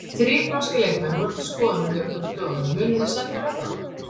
Þrír norskir leikmenn voru til skoðunar hjá ykkur á dögunum, munið þið semja við þá?